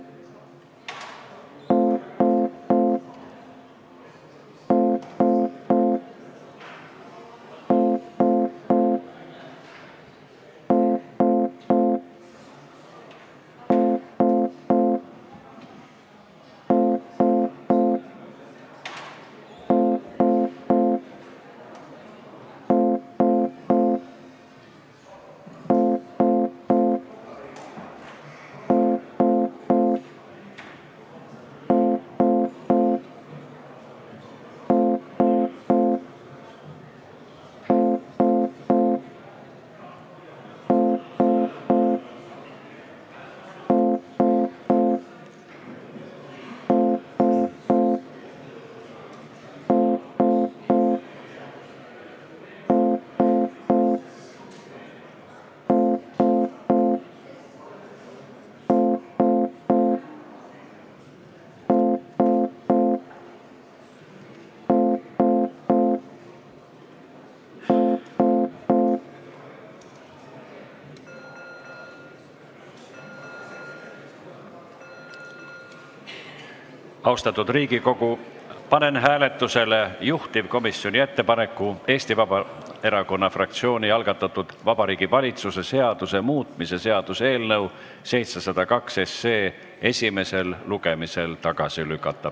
Austatud Riigikogu, panen hääletusele juhtivkomisjoni ettepaneku Eesti Vabaerakonna fraktsiooni algatatud Vabariigi Valitsuse seaduse muutmise seaduse eelnõu 702 esimesel lugemisel tagasi lükata.